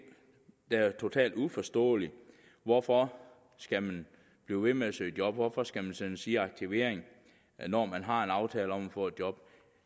der er totalt uforståelige hvorfor skal man blive ved med at søge job hvorfor skal man sendes i aktivering når man har en aftale om at få job